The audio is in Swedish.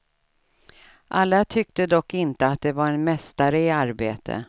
Alla tyckte dock inte att det var en mästare i arbete.